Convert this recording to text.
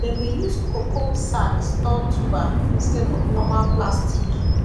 dem dey use cocoa sack store tuber instead of normal plastic